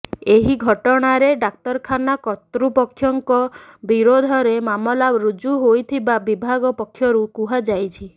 ଏହି ଘଟଣାରେ ଡାକ୍ତରଖାନା କର୍ତୃପକ୍ଷଙ୍କ ବିରୋଧରେ ମାମଲା ରୁଜୁ ହୋଇଥିବା ବିଭାଗ ପକ୍ଷରୁ କୁହାଯାଇଛି